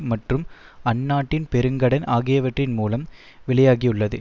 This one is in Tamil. மற்றும் அந்நாட்டின் பெருங்கடன் ஆகியவற்றின் மூலம் வெளியாகியுள்ளது